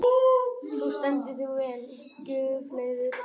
Þú stendur þig vel, Guðleifur!